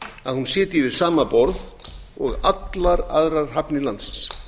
að hún sitji við sama borð og allar aðrar hafnir landsins